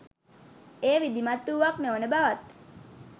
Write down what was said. එය විධිමත් වූවක් නොවන බවත්